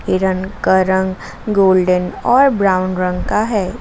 हिरण का रंग गोल्डन और ब्राउन रंग का है।